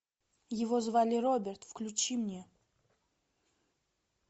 его звали роберт включи мне